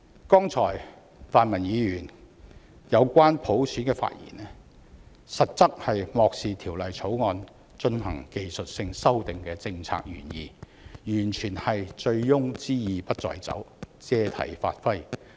剛才泛民議員有關普選的發言，實質是漠視《條例草案》進行技術性修訂的政策原意，完全是醉翁之意不在酒，借題發揮。